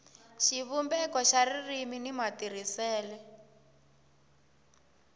xivumbeko xa ririmi ni matirhisele